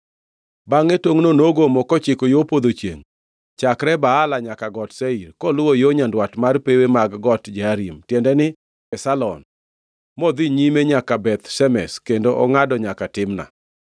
Bangʼe tongʼno nogomo kochiko yo podho chiengʼ chakre Baala nyaka Got Seir, koluwo yo nyandwat mar pewe mag Got Jearim (tiende ni, Kesalon), modhi nyime nyaka Beth Shemesh kendo ongʼado nyaka Timna.